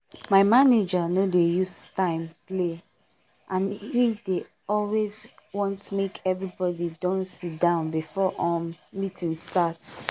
my manager no dey use time play and he dey always want make everybody don sit down before um meeting start